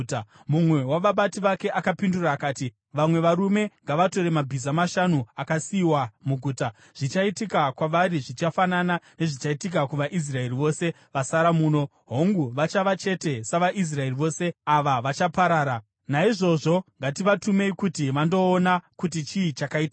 Mumwe wavabati vake akapindura akati, “Vamwe varume ngavatore mabhiza mashanu akasiyiwa muguta. Zvichaitika kwavari zvichafanana nezvichaitika kuvaIsraeri vose vasara muno, hongu vachava chete savaIsraeri vose ava vachaparara. Naizvozvo ngativatumei kuti vandoona kuti chii chakaitika.”